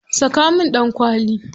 Saka min ɗankwali.